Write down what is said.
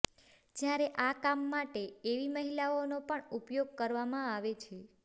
જ્યારે આ કામ માટે એવી મહિલાઓનો પણ ઉપયોગ કરવામાં આવે છે